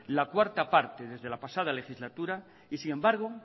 la cuarta parte desde la pasada legislatura y sin embargo